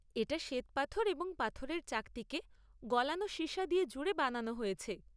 এটা শ্বেতপাথর এবং পাথরের চাকতিকে গলানো সীসা দিয়ে জুড়ে বানানো হয়েছে।